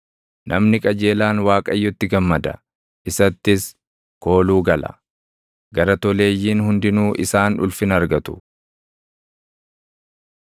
Namni qajeelaan Waaqayyotti gammada; isattis kooluu gala; gara toleeyyiin hundinuu isaan ulfina argatu.